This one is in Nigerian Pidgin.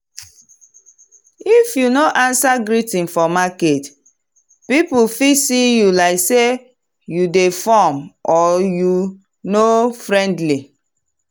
if you no answer greeting for market people fit see you like say you dey form or you no friendly.